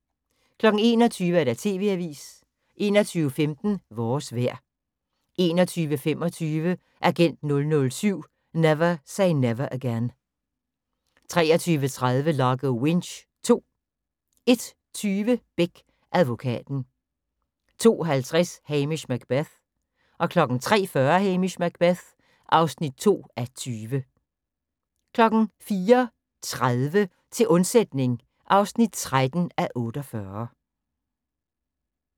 21:00: TV-avisen 21:15: Vores vejr 21:25: Agent 007 - Never Say Never Again 23:30: Largo Winch II 01:20: Beck - advokaten 02:50: Hamish Macbeth 03:40: Hamish Macbeth (2:20) 04:30: Til undsætning (13:48)